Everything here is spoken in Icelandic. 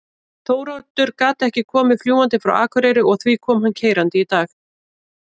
Þóroddur gat ekki komið fljúgandi frá Akureyri og því kom hann keyrandi í dag.